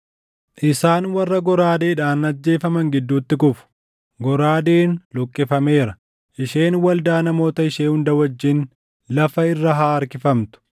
Isaan warra goraadeedhaan ajjeefaman gidduutti kufu. Goraadeen luqqifameera; isheen waldaa namoota ishee hunda wajjin lafa irra haa harkifamtu.